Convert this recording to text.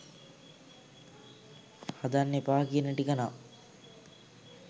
හදන්න එපා කියන ටික නම්